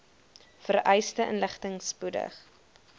vereiste inligting spoedig